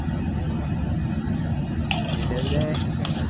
പ്രതീക്ഷിക്കാല്ലേ?